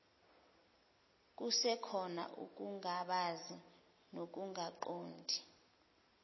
kusekhona ukungabaza nokungaqondi